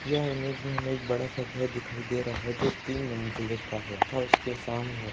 यह इमेज में हमें एक बड़ा सा घर दिखाई दे रहा हैं जो तीन मंजिले का है तथा उसके सामने --